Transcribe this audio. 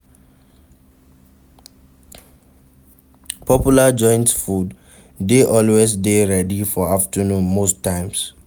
Popular joints food de always dey ready for afternoon most times